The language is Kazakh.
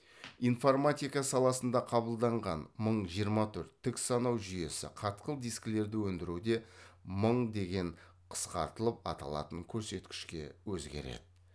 информатика саласында қабылданған мың жиырма төрт тік санау жүйесі қатқыл дискілерді өңдіруде мың деген қысқартылып аталатын көрсеткішке өзгереді